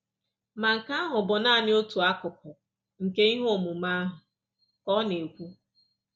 “Ma nke ahụ bụ nanị otu akụkụ nke ihe omume ahụ,” ka ọ na-ekwu.